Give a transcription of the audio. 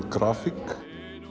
grafík